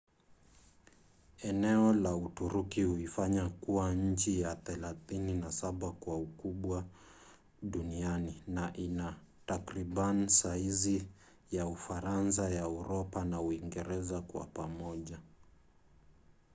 eneo la uturuki huifanya kuwa nchi ya 37 kwa ukubwa duniani na ina takriban saizi za ufaransa ya uropa na uingereza kwa pamoja